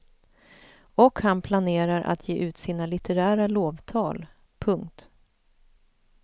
Och han planerar att ge ut sina litterära lovtal. punkt